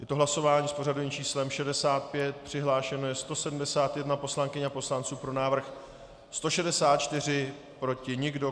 Je to hlasování s pořadovým číslem 65, přihlášeno je 171 poslankyň a poslanců, pro návrh 164, proti nikdo.